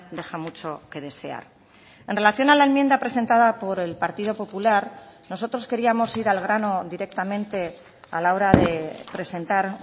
deja mucho que desear en relación a la enmienda presentada por el partido popular nosotros queríamos ir al grano directamente a la hora de presentar